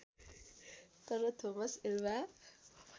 तर Thomas Alva